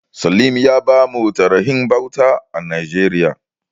Salim ya bamu tarihin bauta a Najeriya.